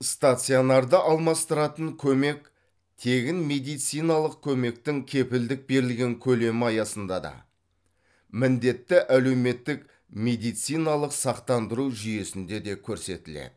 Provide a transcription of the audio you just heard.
стационарды алмастыратын көмек тегін медициналық көмектің кепілдік берілген көлемі аясында да міндетті әлеуметтік медициналық сақтандыру жүйесінде де көрсетіледі